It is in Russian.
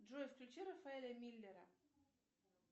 джой включи рафаэля миллера